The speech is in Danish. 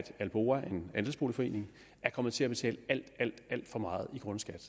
alboa en andelsboligforening er kommet til at betale alt alt for meget i grundskat